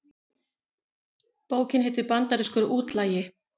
Bókin heitir Bandarískur útlagi